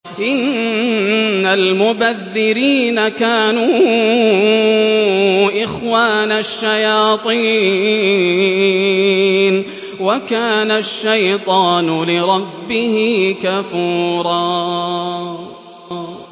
إِنَّ الْمُبَذِّرِينَ كَانُوا إِخْوَانَ الشَّيَاطِينِ ۖ وَكَانَ الشَّيْطَانُ لِرَبِّهِ كَفُورًا